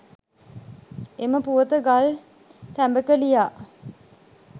එම පුවත ගල් ටැඹක ලියා